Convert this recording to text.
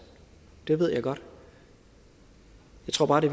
det ved jeg godt jeg tror bare det